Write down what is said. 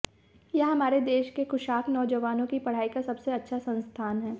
यह हमारे देश के कुशाग्र नौजवानों की पढ़ाई का सबसे अच्छा संस्थान है